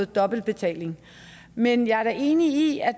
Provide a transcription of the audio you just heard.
dobbeltbetaling men jeg er da enig i at